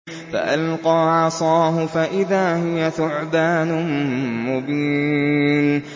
فَأَلْقَىٰ عَصَاهُ فَإِذَا هِيَ ثُعْبَانٌ مُّبِينٌ